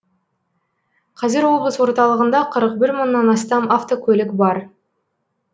қазір облыс орталығында қырық бір мыңнан астам автокөлік бар